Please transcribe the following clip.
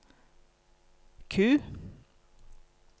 Q